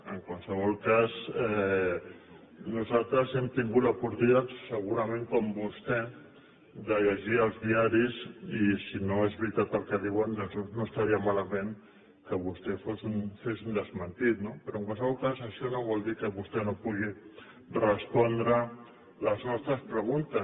en qualsevol cas nosaltres hem tingut l’oportunitat segurament com vostè de llegir els diaris i si no és veritat el que diuen doncs no estaria malament que vostè fes un desmentit no però en qualsevol cas això no vol dir que vostè no pugui respondre a les nostres preguntes